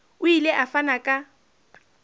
o ile a fana ka